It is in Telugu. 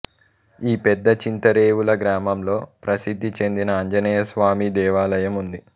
ఈ పెద్ద చింతరేవుల గ్రామంలో ప్రసిద్ధి చెందిన ఆంజనేయస్వామి దేవాలయం ఉంది